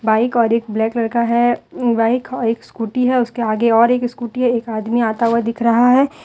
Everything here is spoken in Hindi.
बाइक और एक ब्लैक कलर है बाइक और एक स्कूटी है उसके आगे और एक स्कूटी है एक आदमी आता हुआ दिख रहा है।